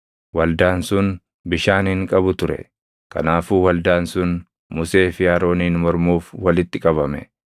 Waldaan sun bishaan hin qabu ture; kanaafuu waldaan sun Musee fi Arooniin mormuuf walitti qabame.